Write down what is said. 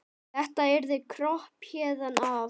Þetta yrði kropp héðan af.